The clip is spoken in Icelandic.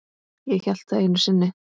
Ég hélt það einu sinni.